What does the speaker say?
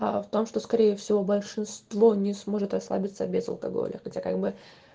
а в том что скорее всего большинство не сможет расслабиться без алкоголя где как бы